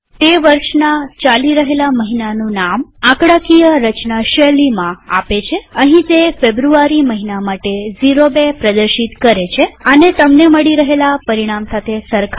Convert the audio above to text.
તે વર્ષના ચાલી રહેલા મહિનાનું નામ આંકડાકીય રચના શૈલીમાં આપે છેઅહીં તે ફેબ્રુઆરી મહિના માટે ૦૨ પ્રદર્શિત કરે છેઆને તમને મળી રહેલા પરિણામ સાથે સરખાવો